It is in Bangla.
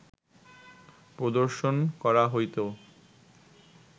প্রদর্শন করা হইত